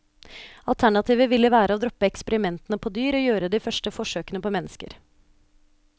Alternativet ville være å droppe eksperimentene på dyr og gjøre de første forsøkene på mennesker.